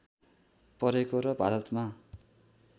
परेको र भारतमा